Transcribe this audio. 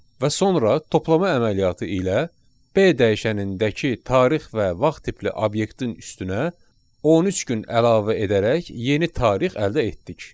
Və sonra toplama əməliyyatı ilə B dəyişənindəki tarix və vaxt tipli obyektin üstünə 13 gün əlavə edərək yeni tarix əldə etdik.